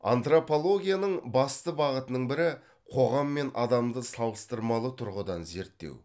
антропологияның басты бағытының бірі қоғам мен адамды салыстырмалы тұрғыдан зерттеу